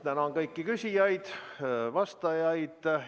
Tänan kõiki küsijaid ja vastajaid!